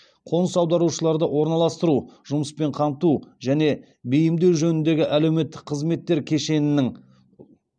қоныс аударушыларды орналастыру жұмыспен қамту және бейімдеу жөніндегі әлеуметтік қызметтер кешенінің